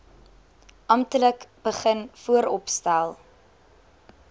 amptelik begin vooropstel